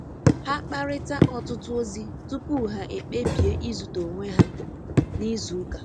Ha kparịta ọtụtụ ozi tupu ha ekpebi izute onwe ha n'izu ụka.